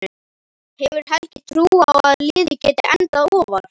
Hefur Helgi trú á að liðið geti endað ofar?